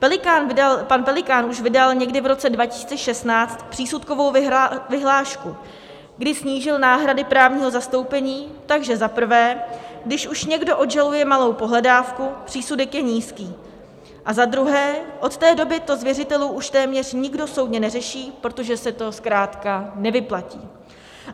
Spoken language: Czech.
Pan Pelikán vydal už někdy v roce 2016 přísudkovou vyhlášku, kdy snížil náhrady právního zastoupení, takže za prvé, když už někdo odžaluje malou pohledávku, přísudek je nízký, a za druhé, od té doby to z věřitelů už téměř nikdo soudně neřeší, protože se to zkrátka nevyplatí.